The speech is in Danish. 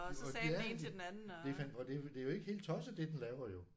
Og ja det er fan og det det er ikke helt tosset det den laver jo